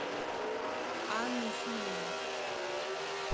анну филину